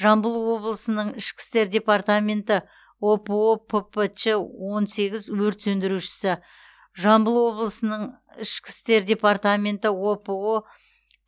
жамбыл облысының ішкі істер департаменті опо ппч он сегіз өрт сөндірушісі жамбыл облысының ішкі істер департаменті опо